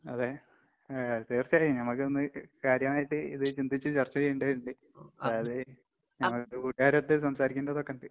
അതെ. ഏഹ് തീർച്ചയായും ഞമ്മക്കൊന്ന് ക് കാര്യമായിട്ട് ഇത് ചിന്തിച്ച് ചർച്ച ചെയ്യേണ്ടതിണ്ട്. അത് നമുക്ക് കൂട്ട്കാരൊത്ത് സംസാരിക്കേണ്ടതൊക്കിണ്ട്.